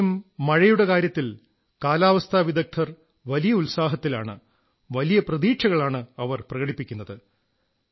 ഇപ്രാവശ്യം മഴയുടെ കാര്യത്തിൽ കാലാവസ്ഥാവിദഗ്ധർ വലിയ ഉത്സാഹത്തിലാണ് വലിയ പ്രതീക്ഷകളാണു പ്രകടിപ്പിക്കുന്നത്